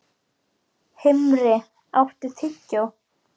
Himri, áttu tyggjó?